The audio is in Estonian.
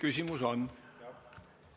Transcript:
Küsimusi on.